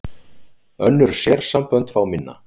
Önnur sérsambönd fá minna